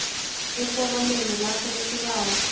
eforomeni lakho lesibawo